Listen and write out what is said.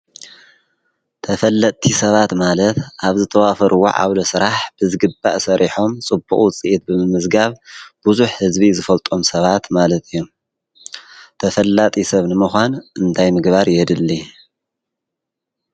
ተፈለጥቲ ሰባት ማለት ኣብ ዝተዋፈሩዎ ዓውደ ስራሕ ብዝግባእ ሰሪሖም ፅቡቕ ውፅኢት ብምምዝጋብ ብዙሕ ህዝቢ ዝፈልጦም ሰባት ማለት እዮም። ተፈላጢ ሰብ ንሙዃን እንታይ ምግባር የድሊ?